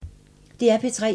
DR P3